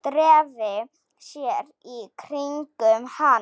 Dreifi sér í kringum hann.